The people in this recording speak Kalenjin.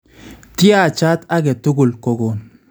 Tyaachat ake tukul kokon